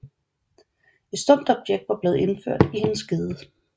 Et stumpt objekt var blevet indført i hendes skede